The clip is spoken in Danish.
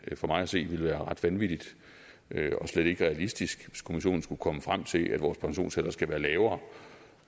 for mig at se ville være ret vanvittigt og slet ikke realistisk hvis kommissionen skulle komme frem til at vores pensionsalder skal være lavere